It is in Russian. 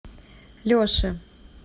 леше